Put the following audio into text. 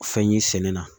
Fɛn ye sɛnɛ na